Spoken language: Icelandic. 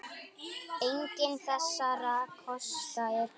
Enginn þessara kosta er góður.